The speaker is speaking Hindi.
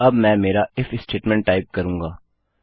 अब मैं मेरा इफ स्टेटमेंट टाइप करूँगा